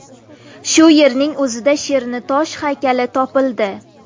Shu yerning o‘zida sherning tosh haykali topildi.